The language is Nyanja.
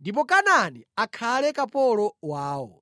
ndipo Kanaani akhale kapolo wawo.”